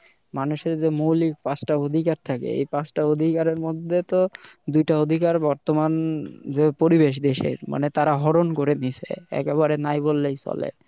মানুষের যে মৌলিক পাঁচ টা অধিকার থাকে এই পাঁচ টা অধিকারের মধ্যে দুইটা অধিকার বর্তমান যে পরিবেশ দেশের মানে তার আরহন করে দিছে একেবারে নাই বললেই চলে